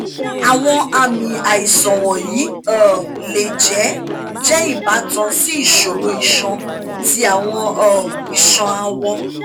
awọn aami aisan wọnyi um le jẹ jẹ ibatan si iṣoro iṣan ti awọn um iṣan awọ